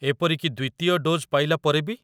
ଏପରି କି ଦ୍ୱିତୀୟ ଡୋଜ୍ ପାଇଲା ପରେ ବି?